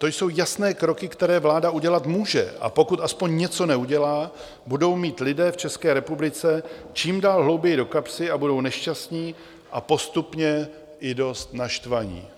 To jsou jasné kroky, které vláda udělat může, a pokud aspoň něco neudělá, budou mít lidé v České republice čím dál hlouběji do kapsy a budou nešťastní a postupně i dost naštvaní.